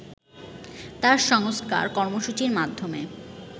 তাঁর সংস্কার কর্মসূচীর মাধ্যমে